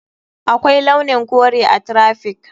Akwai launin kore a traffic.